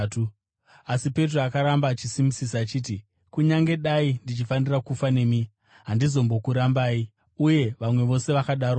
Asi Petro akaramba akasimbisisa achiti, “Kunyange dai ndichifanira kufa nemi, handizombokurambai.” Uye vamwe vose vakadarowo.